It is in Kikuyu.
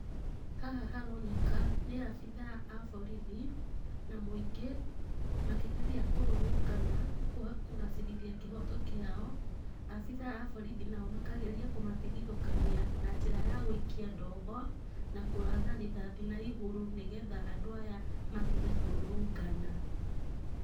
Haha haroneka nĩ abithaa a borithi, na mũingĩ, makĩgeria kũrũrũngana kũgacĩrithia kĩhoto kĩao, abithaa a borithi nao makageria kũmatigithũkania na njĩra ya gũikia ndogo, na kũratha rithathi na igũrũ nĩgetha andũ aya matige kũrũrũngana.